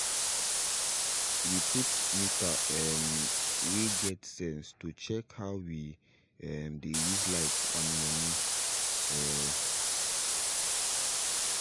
we put meter um way get sense to dey check how we um dey use light and money um